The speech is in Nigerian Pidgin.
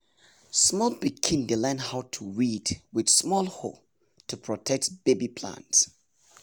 small pikin dey learn how to weed with small hoe to protect baby plants.